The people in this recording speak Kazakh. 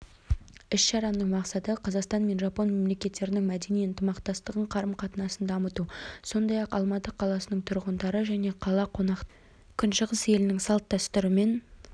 іс-шараның мақсаты қазақстан мен жапон мемлекеттерінің мәдени ынтымақтастығын қарым-қатынасын дамыту сондай-ақ алматы қаласының тұрғындары және қала қонақтары күншығыс елінің салт-дәстүрімен